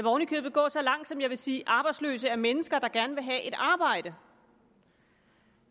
oven i købet gå så langt at jeg vil sige at arbejdsløse er mennesker der gerne vil have et arbejde